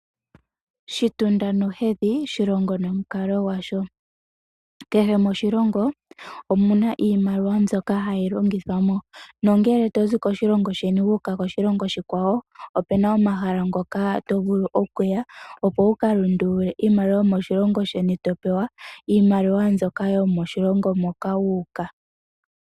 Shitunda nohedhi shilongo nomukalo gwasho. Kehe moshilongo omu na iimaliwa mbyoka hayi longithwa mo. Nongele to zi koshilongo sheni wu uka koshilongo oshikwawo ope na omahala ngoka to vulu okuya, opo wu ka lundulule iimaliwa yomoshilongo sheni to pewa iimaliwa yomoshilongo moka wu uka.